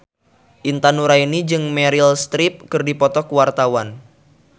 Intan Nuraini jeung Meryl Streep keur dipoto ku wartawan